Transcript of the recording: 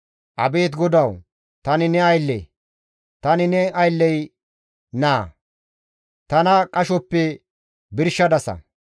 Abeet GODAWU! Tani ne aylle; tani ne aylley naa; tana qashoppe birshadasa.